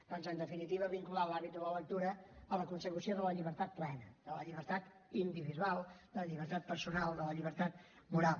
doncs en definitiva vincular l’hàbit de la lectura a la consecució de la llibertat plena de la llibertat individual de la llibertat personal de la llibertat moral